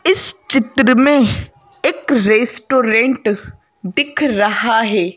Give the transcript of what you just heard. इस चित्र में एक रेस्टोरेंट दिख रहा है।